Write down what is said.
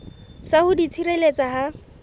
sa ho di tshireletsa ha